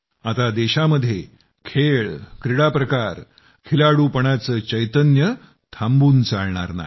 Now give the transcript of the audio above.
आता देशामध्ये खेळ क्रीडा प्रकार खिलाडूपणाचं चैतन्य थांबून चालणार नाही